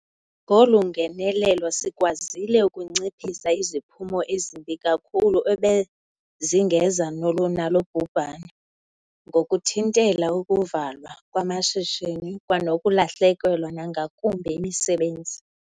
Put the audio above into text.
Ngolu ngenelelo sikwazile ukunciphisa iziphumo ezimbi kakhulu ebezingeza nalo bhubhane, ngokuthintela ukuvalwa kwamashishini kwanokulahlekelwa nangakumbi yimisebenzi.